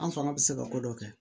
An fanga bɛ se ka ko dɔ kɛ